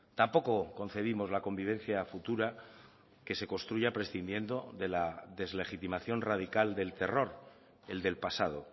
tampoco concebimos la convivencia futura que se construya prescindiendo de la deslegitimación radical del terror el del pasado